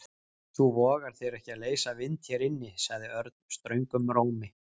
Þú vogar þér ekki að leysa vind hér inni sagði Örn ströngum rómi.